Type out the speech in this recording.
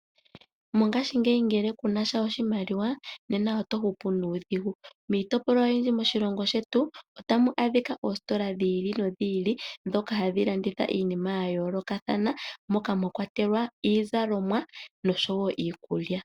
Mongashingeyi ngele kuna sha oshimaliwa, nena oto hupu nuudhigu. Miitopolwa oyindji moshilongo shetu, ota mu adhika dhi ili nodhi ili ndhoka hadhi landitha iinima ya yoolokathana, moka mwa kwatelwa iizalomwa nosho wo iikulya.